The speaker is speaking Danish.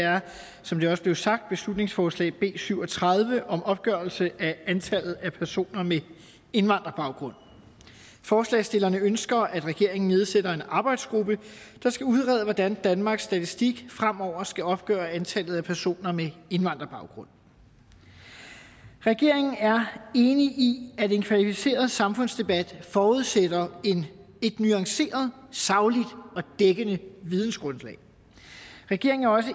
er som det også blev sagt beslutningsforslag nummer b syv og tredive om opgørelse af antallet af personer med indvandrerbaggrund forslagsstillerne ønsker at regeringen nedsætter en arbejdsgruppe der skal udrede hvordan danmarks statistik fremover skal opgøre antallet af personer med indvandrerbaggrund regeringen er enig i at en kvalificeret samfundsdebat forudsætter et nuanceret sagligt og dækkende vidensgrundlag regeringen er også